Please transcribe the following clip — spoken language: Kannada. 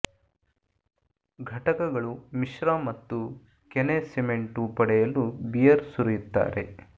ಘಟಕಗಳು ಮಿಶ್ರ ಮತ್ತು ಕೆನೆ ಸಿಮೆಂಟು ಪಡೆಯಲು ಬಿಯರ್ ಸುರಿಯುತ್ತಾರೆ